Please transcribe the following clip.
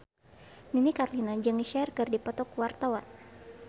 Nini Carlina jeung Cher keur dipoto ku wartawan